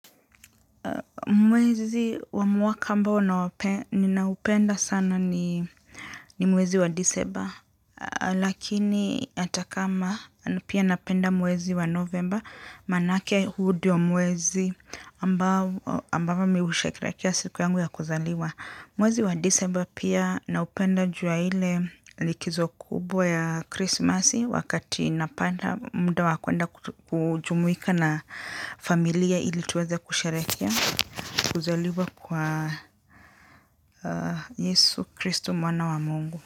Mwezi wa mwaka ambao ninaupenda sana ni mwezi wa disemba lakini ata kama pia napenda mwezi wa novemba manake huu diyo mwezi ambavo mi usherehekea siku yangu ya kuzaliwa. Mwezi wa disemba pia naupenda ju ya ile likizo kubwa ya krismasi wakati napanda muda wa kwenda kujumuika na familia ili tuweze kusherehekea. Kuzaliwa kwa Yesu Kristo mwana wa mungu.